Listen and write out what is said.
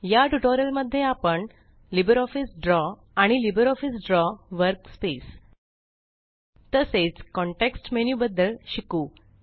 या ट्यूटोरियल मध्ये आपण लिबरऑफिस ड्रॉ आणि लिबरऑफिस ड्रॉ वर्कस्पेस तसेच कॉन्टेक्स्ट मेनू बद्दल शिकू